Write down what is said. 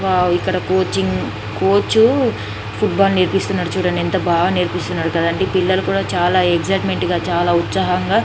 wow ఇక్కడ coaching coach football నేర్పిస్తున్నాడు చూడండి ఎంత బాగా నేర్పిస్తున్నాడు కదండి పిల్లలు కూడ చాల ఎక్ససిట్మెంట్ గ చాల ఉత్సాహంగా --